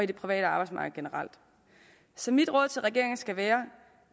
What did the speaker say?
det private arbejdsmarked generelt så mit råd til regeringen skal være